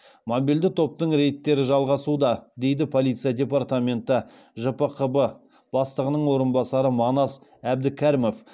мобильді топтың рейдтері жалғасуда дейді полиция департаменті жпқб бастығының орынбасары манас әбдікәрімов